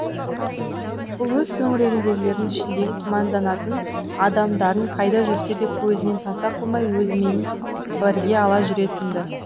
бұл өз төңірегіндегілердің ішіндегі күмәнданатын адамдарын қайда жүрсе де көзінен таса қылмай өзімен бірге ала жүретінді